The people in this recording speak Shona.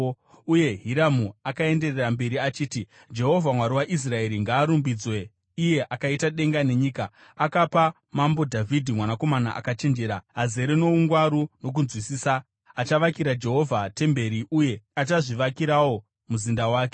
Uye Hiramu akaenderera mberi achiti: “Jehovha Mwari waIsraeri ngaarumbidzwe iye akaita denga nenyika! Akapa mambo Dhavhidhi mwanakomana akachenjera, azere noungwaru nokunzwisisa, achavakira Jehovha temberi uye uye achazvivakirawo muzinda wake.